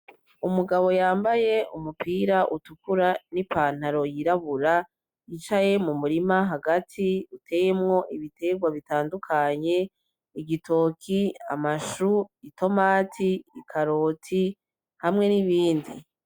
Umugabo yambaye umupira utukura n'ipantaro yirabura, yicaye mu murima hagati, uteyemwo ibitegwa bitandukanye:igitoki, amashu, itomati, ikaroti hamwe n'ibindi.